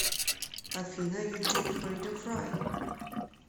афина ютуб фридом фрай